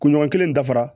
Kunɲɔgɔn kelen dafara